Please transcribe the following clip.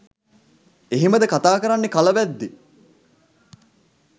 එහෙමද කතා කරන්නෙ කලවැද්දෝ?